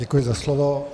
Děkuji za slovo.